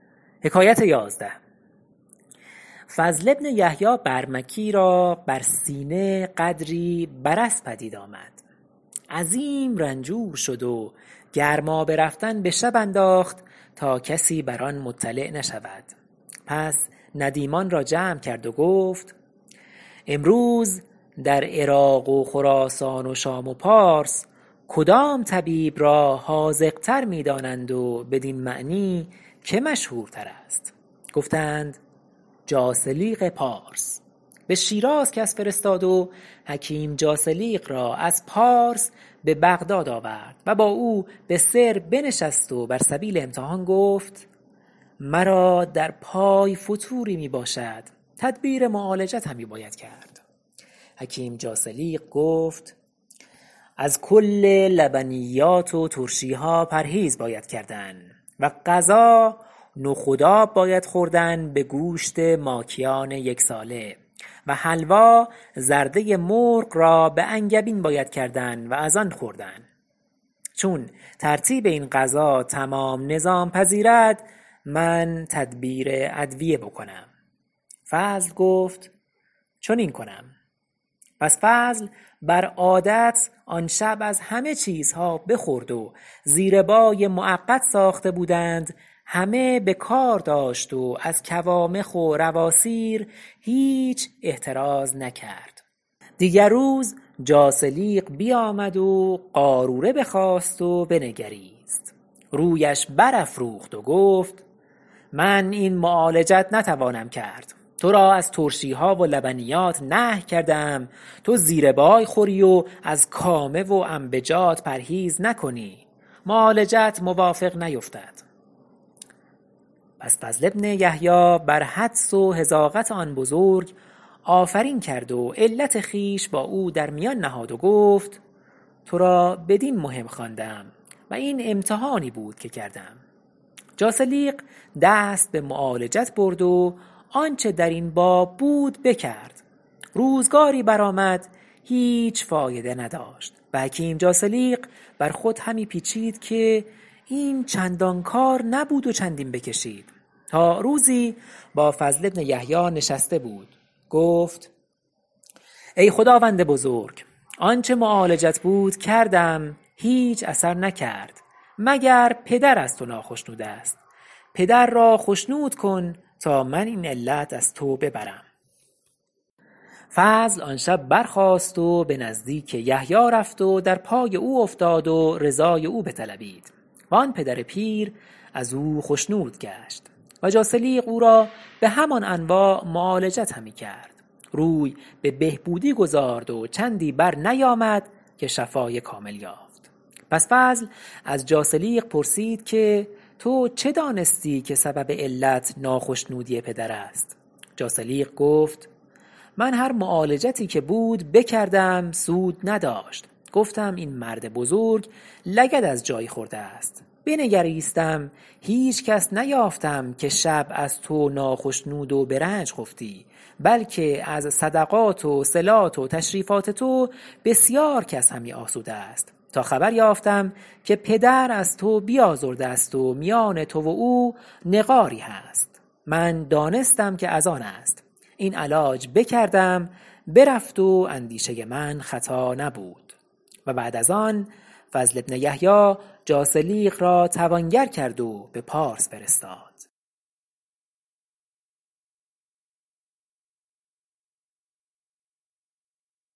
فضل بن یحیی برمکی را بر سینه قدری برص پدید آمد عظیم رنجور شد و گرمابه رفتن به شب انداخت تا کسی بر آن مطلع نشود پس ندیمان را جمع کرد و گفت امروز در عراق و خراسان و شام و پارس کدام طبیب را حاذق تر می دانند و بدین معنی که مشهورتر است گفتند جاثلیق پارس به شیراز کس فرستاد و حکیم جاثلیق را از پارس به بغداد آورد و با او به سر بنشست و بر سبیل امتحان گفت مرا در پای فتوری می باشد تدبیر معالجت همی باید کرد حکیم جاثلیق گفت از کل لبنیات و ترشیها پرهیز باید کردن و غذا نخود آب باید خوردن به گوشت ماکیان یک ساله و حلوا زرده مرغ را به انگبین باید کردن و از آن خوردن چون ترتیب این غذا تمام نظام پذیرد من تدبیر ادویه بکنم فضل گفت چنین کنم پس فضل بر عادت آن شب از همه چیزها بخورد و زیربای معقد ساخته بودند همه به کار داشت و از کوامخ و رواصیر هیچ احتراز نکرد دیگر روز جاثلیق بیامد و قاروره بخواست و بنگریست رویش بر افروخت و گفت من این معالجت نتوانم کرد تو را از ترشیها و لبنیات نهی کرده ام تو زیربای خوری و از کامه و انبجات پرهیز نکنی معالجت موافق نیفتد پس فضل بن یحیی بر حدس و حذاقت آن بزرگ آفرین کرد و علت خویش با او در میان نهاد و گفت تو را بدین مهم خواندم و این امتحانی بود که کردم جاثلیق دست به معالجت برد و آنچه درین باب بود بکرد روزگاری برآمد هیچ فایده نداشت و حکیم جاثلیق بر خویش همی پیچید که این چندان کار نبود و چندین بکشید تا روزی با فضل بن یحیی نشسته بود گفت ای خداوند بزرگوار آنچه معالجت بود کردم هیچ اثر نکرد مگر پدر از تو ناخشنود است پدر را خشنود کن تا من این علت از تو ببرم فضل آن شب برخاست و به نزدیک یحیی رفت و در پای او افتاد و رضای او بطلبید و آن پدر پیر از او خشنود گشت و جاثلیق اورا به همان انواع معالجت همی کرد روی به بهبودی گذارد و چندی بر نیامد که شفاء کامل یافت پس فضل از جاثلیق پرسید که تو چه دانستی که سبب علت ناخشنودی پدر است جاثلیق گفت من هر معالجتی که بود بکردم سود نداشت گفتم این مرد بزرگ لگد از جایی خورده است بنگریستم هیچ کس نیافتم که شب از تو ناخشنود و به رنج خفتی بلکه از صدقات و صلات و تشریفات تو بسیار کس همی آسوده است تا خبر یافتم که پدر از تو بیازرده است و میان تو و او نقاری هست من دانستم که از آن است این علاج بکردم برفت و اندیشه من خطا نبود و بعد از آن فضل بن یحیی جاثلیق را توانگر کرد و به پارس فرستاد